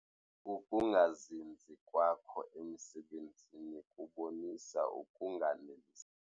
Ukungazinzi kwakho emisebenzini kubonisa ukunganeliseki.